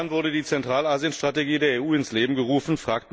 Vor fünf Jahren wurde die Zentralasien Strategie der EU ins Leben gerufen.